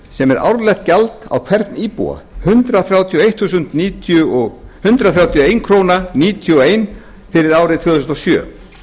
sem er árlegt gjald á hvern íbúa hundrað þrjátíu og einn komma níutíu og eina krónu fyrir árið tvö þúsund og sjö